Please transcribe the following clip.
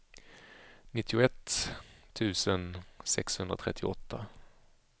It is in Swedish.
nittioett tusen sexhundratrettioåtta